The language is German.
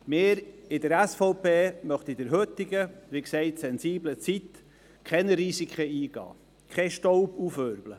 Wir von der SVP möchten in der heutigen, wie gesagt sensiblen Zeit keine Risiken eingehen, keinen Staub aufwirbeln.